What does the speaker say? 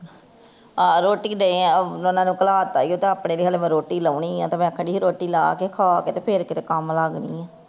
ਉਹ ਰੋਟੀ ਦੇ ਆ ਉਨ੍ਹਾਂ ਨੂੰ ਉਨ੍ਹਾਂ ਨੂੰ ਕਲਾਤਾਏ ਤੇ ਆਪਣੇ ਲਈ ਹਜ਼ਰੋ ਰੋਟੀ ਲਾਹੁਣੀ ਤੇ ਮੈਂ ਆਖਣ ਡਈ ਸੀ ਰੋਟੀ ਲਾਹ ਕੇ ਖਾਕੇ ਤੇ ਮੈਂ ਫੇਰ ਕਿੱਥੇ ਕੰਮ ਲਗਦੀ ਹਾਂ